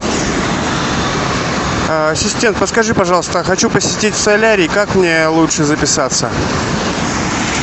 ассистент подскажи пожалуйста я хочу посетить солярий как мне лучше записаться